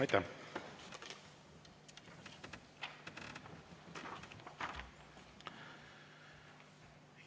Aitäh!